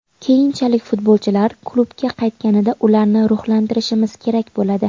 Keyinchalik futbolchilar klubga qaytganida ularni ruhlantirishimiz kerak bo‘ladi.